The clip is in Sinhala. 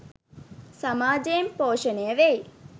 සමාජයෙන් පෝෂණය වෙයි